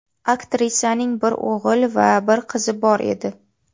Aktrisaning bir o‘g‘il va bir qizi bor edi.